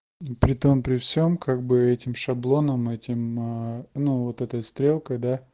при том при всем как бы этим шаблоном этим на ну вот этой стрелкой да